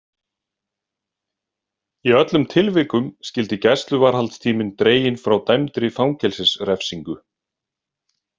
Í öllum tilvikum skyldi gæsluvarðhaldstíminn dreginn frá dæmdri fangelsisrefsingu.